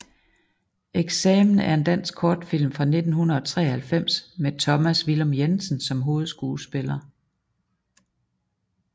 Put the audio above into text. Eksamen er en dansk kortfilm fra 1993 med Thomas Villum Jensen som hovedskuespiller